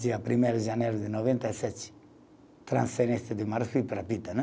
Dia primeiro de janeiro de noventa e sete, transferência de Maluf para a né